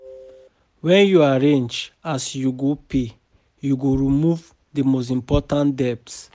Wen yu arrange as you go pay, yu go remove the most important debt